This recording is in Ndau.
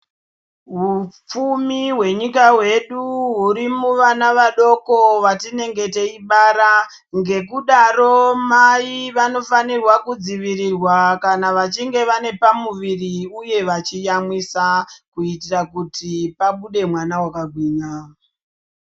Hipfumi hwenyika yedu hurimuvana vadoko vatinenge teibara nekudaro mai vanofanirwa kudzivirirwa kana vachinge vane pamuviri uye vachiyamwisa kuitira kuti pabude mwana akagwinya .